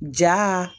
Ja